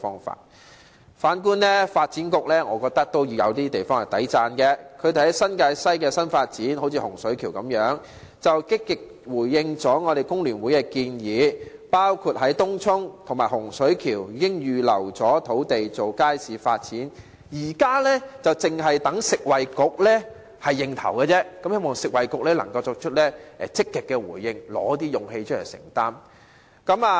反觀發展局，我認為也有一些值得讚許的地方，局方在新界西的新發展上，例如在洪水橋，積極回應了工聯會的建議，包括在東涌和洪水橋預留土地作街市發展，現時只待食衞局首肯，希望食衞局可以作出積極回應，提出勇氣來承擔。